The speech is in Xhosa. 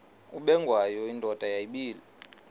ubengwayo indoda yayibile